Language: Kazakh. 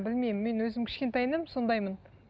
білмеймін мен өзім кішкентайымнан сондаймын